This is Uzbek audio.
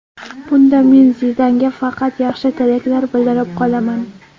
Bunda men Zidanga faqat yaxshi tilaklar bildirib qolaman.